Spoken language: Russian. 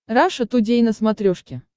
раша тудей на смотрешке